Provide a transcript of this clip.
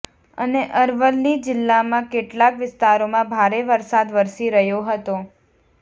અને અરવલ્લી જીલ્લામાં કેટલાક વિસ્તારોમાં ભારે વરસાદ વરસી રહ્યો હતો